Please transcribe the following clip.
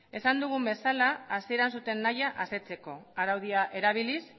esan dugun bezala hasieran zuten nahi asetzeko araudia erabiliz